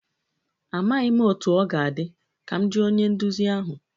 Amaghị m otú ọ ga-adị, ka m jụọ onye nduzi ahụ